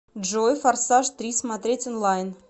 джой форсаж три смотреть онлайн